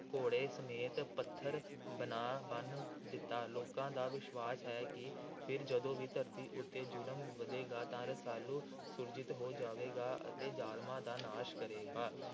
ਘੋੜੇ ਸਮੇਤ ਪੱਥਰ ਬਣਾ ਬੰਨ੍ਹ ਦਿੱਤਾ। ਲੋਕਾਂ ਦਾ ਵਿਸ਼ਵਾਸ ਹੈ ਕਿ ਫਿਰ ਜਦੋਂ ਵੀ ਧਰਤੀ ਉੱਤੇ ਜ਼ੁਲਮ ਵਧੇਗਾ ਤਾਂ ਰਸਾਲੂ ਸੁਰਜੀਤ ਹੋ ਜਾਵੇਗਾ ਅਤੇ ਜ਼ਾਲਮਾਂ ਦਾ ਨਾਸ਼ ਕਰੇਗਾ।